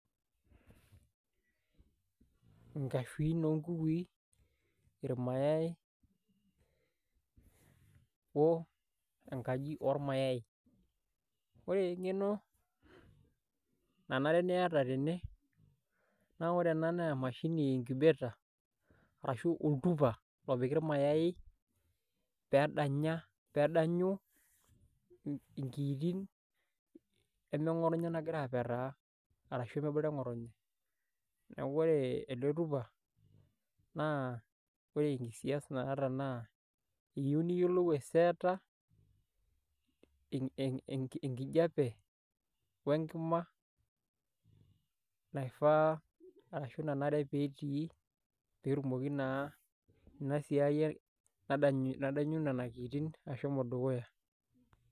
Inkashuin oonkukui irmayai o enkaji oormayai ore eng'eno nanare niata tene naa ore ena naa emashini incubator ashuu oltupa opiki ormayai peedanya peedanyu inkiitin nemeng'otonye nagira apetaa ashuu neeku ore ele tupa naa ore enikisias naata naa iyieu niyiolou aiseeta enkijiape wenkima naifaa arashu nanare peetii peetumoki naa enasiai nadanyu nena kiitin ashuu imotonyik edukuya.